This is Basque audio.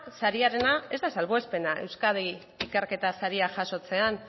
sariarena ez da salbuespena euskadi ikerketa saria jasotzean